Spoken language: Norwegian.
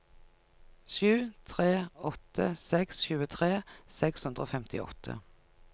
sju tre åtte seks tjuetre seks hundre og femtiåtte